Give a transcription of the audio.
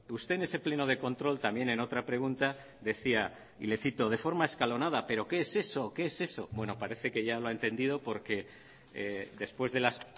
usted en ese pleno de control también en otra pregunta decía y le cito de forma escalonada pero qué es eso qué es eso bueno parece que ya lo ha entendido porque después de las